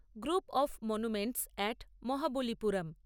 group of monuments at Mahabalipuram